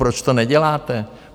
Proč to neděláte?